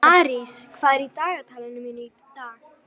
Arís, hvað er í dagatalinu mínu í dag?